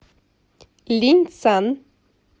линьцан